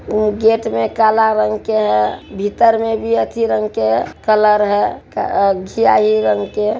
ओ gate में काला रंग का है भीतर में भी आथी रंग का है कलर है घीआई रंग के|